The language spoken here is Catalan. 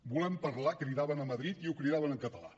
volem parlar cridaven a madrid i ho cridaven en català